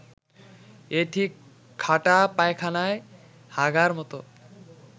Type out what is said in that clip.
এ ঠিক খাটা পায়খানায় হাগার মত